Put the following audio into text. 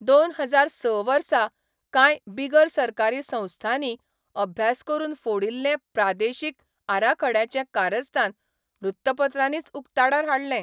दोन हजार स वर्सा कांय बिगर सरकारी संस्थांनी अभ्यास करून फोडिल्लें प्रादेशीक आराखड्याचें कारस्थान वृत्तपत्रांनीच उक्ताडार हाडलें.